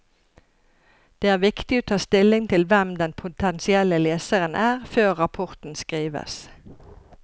Det er viktig å ta stilling til hvem den potensielle leseren er, før rapporten skrives.